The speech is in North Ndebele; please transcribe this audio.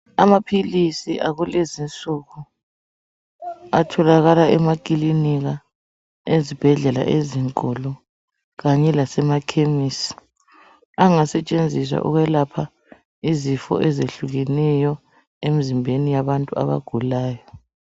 Amaphilisi akulezinsuku atholakala emakilinika ezibhedlela ezinkulu kanye lasemakhemisi angasetshenziswa ukwelapha izifo ezehlukeneyo emzimbeni yabantu abagulayo.